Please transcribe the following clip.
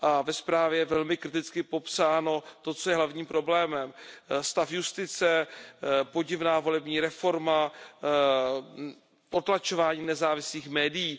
Ve zprávě je velmi kriticky popsáno to, co je hlavním problémem stav justice, podivná volební reforma, potlačování nezávislých médií.